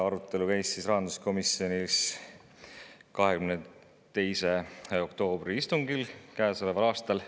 Arutelu käis rahanduskomisjonis 22. oktoobri istungil käesoleval aastal.